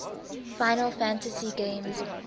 final fantasy games